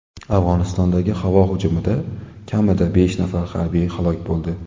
Afg‘onistondagi havo hujumida kamida besh nafar harbiy halok bo‘ldi.